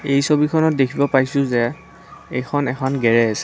এই ছবিখনত দেখিব পাইছোঁ যে এইখন এখন গেৰেজ।